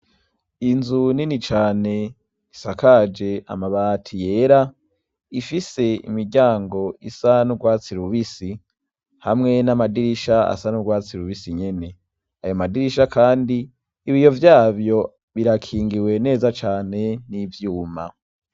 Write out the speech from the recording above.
Inzu nini cane isakaje amabati yera, ifise imiryango isa n'urwatsi rubisi, hamwe n'amadirisha asa n'urwatsi rubisi nyene, ayo madirisha kandi ibiyo vyavyo birakingiwe neza cane n'ivyuma.